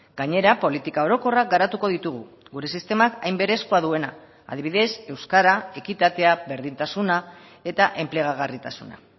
gainera politika orokorrak garatuko ditugu gure sistemak hain berezkoa duena adibidez euskara ekitatea berdintasuna eta enplegagarritasuna